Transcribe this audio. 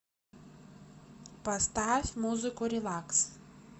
поставь музыку релакс